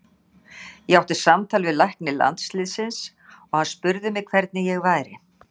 Ég átti samtal við lækni landsliðsins og hann spurði mig hvernig ég væri.